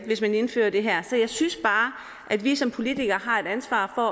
hvis man indfører det her så jeg synes bare at vi som politikere har et ansvar for